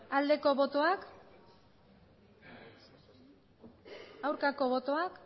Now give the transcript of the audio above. aldeko botoak aurkako botoak